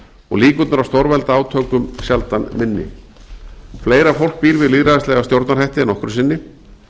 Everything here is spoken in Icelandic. og líkurnar á stórveldaátökum sjaldan minni fleira fólk býr við lýðræðislega stjórnarhætti en nokkru sinni